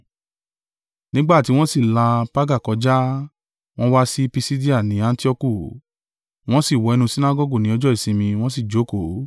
Nígbà ti wọ́n sì là Perga kọjá, wọ́n wá sí Pisidia ní Antioku. Wọ́n sì wọ inú Sinagọgu ní ọjọ́ ìsinmi, wọ́n sì jókòó.